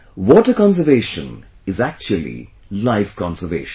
Water conservation is actually life conservation